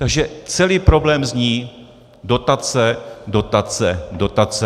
Takže celý problém zní: dotace, dotace, dotace.